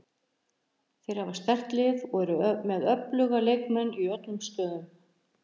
Þeir hafa sterkt lið og eru með öfluga leikmenn í öllum stöðum.